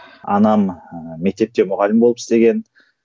анам ыыы мектепте мұғалім болып істеген